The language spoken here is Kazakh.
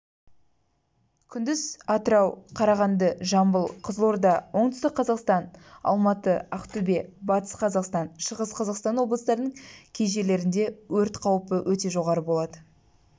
күндіз атырау қарағанды жамбыл қызылорда оңтүстік қазақстан алматы ақтөбе батыс қазақстан шығыс қазақстан облыстарының кей жерлерінде өрт қаупі өте жоғары болады